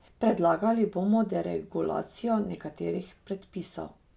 Predlagali bomo deregulacijo nekaterih predpisov.